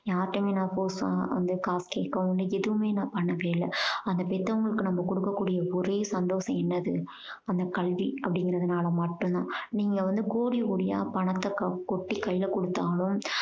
யாருட்டையுமே நான் force ஆ வந்து காசு கேட்கவும் இல்ல எதுவுமே நான் பண்ணதே இல்ல. அந்த பெத்தவங்களுக்கு நம்ம கொடுக்க கூடிய ஒரே சந்தோஷம் என்னது அந்த கல்வி அப்படீங்கறதுனால மட்டும் தான். நீங்க வந்து கோடி கோடியா பணத்த க~ கொட்டி கையில கொடுத்தாலும்